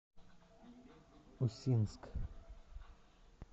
усинск